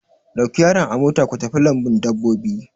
Ɗauki yaran a mota ku tafi lambun dabbobi!